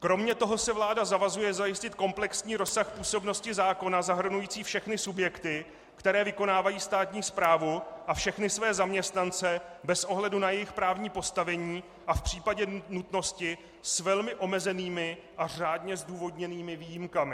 Kromě toho se vláda zavazuje zajistit komplexní rozsah působnosti zákona zahrnující všechny subjekty, které vykonávají státní správu, a všechny své zaměstnance, bez ohledu na jejich právní postavení a v případě nutnosti s velmi omezenými a řádně zdůvodněnými výjimkami.